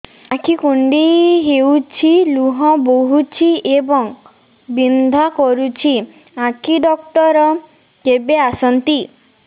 ଆଖି କୁଣ୍ଡେଇ ହେଉଛି ଲୁହ ବହୁଛି ଏବଂ ବିନ୍ଧା କରୁଛି ଆଖି ଡକ୍ଟର କେବେ ଆସନ୍ତି